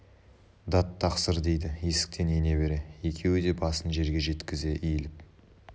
дат тақсыр дейді есіктен ене бере екеуі де басын жерге жеткізе иіліп